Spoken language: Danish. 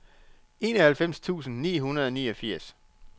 enoghalvfems tusind ni hundrede og niogfirs